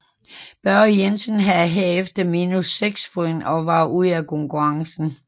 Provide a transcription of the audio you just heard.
Børge Jensen havde herefter minus 6 point og var ude af konkurrencen